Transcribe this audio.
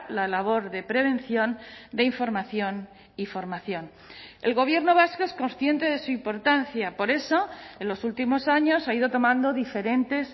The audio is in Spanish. la labor de prevención de información y formación el gobierno vasco es consciente de su importancia por eso en los últimos años ha ido tomando diferentes